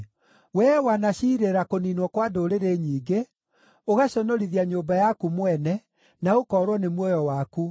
Wee wanaciirĩra kũniinwo kwa ndũrĩrĩ nyingĩ, ũgaconorithia nyũmba yaku mwene, na ũkoorwo nĩ muoyo waku.